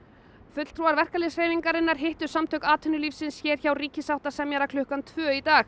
fulltrúar verkalýðshreyfingarinnar hittu Samtök atvinnulífsins hér hjá ríkissáttasemjara klukkan tvö í dag